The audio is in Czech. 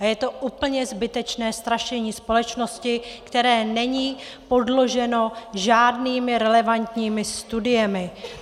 A je to úplně zbytečné strašení společnosti, které není podloženo žádnými relevantními studiemi.